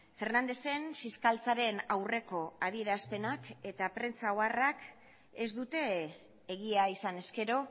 fernández en fiskaltzaren aurreko adierazpenak eta prentsa oharrak ez dute egia izan ezkero